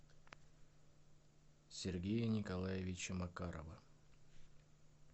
сергея николаевича макарова